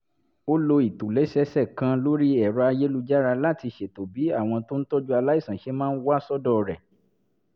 ó lo ìtòlẹ́sẹẹsẹ kan lórí ẹ̀rọ-ayélujára láti ṣètò bí àwọn tó ń tọ́jú aláìsàn ṣe máa wá sọ́dọ̀ rẹ̀